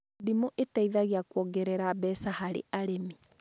Ndimũ ĩteithagia kuongerera mbeca harĩ arĩmi